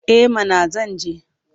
Eh mana zan je.